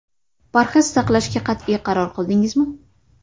Parhez saqlashga qat’iy qaror qildingizmi?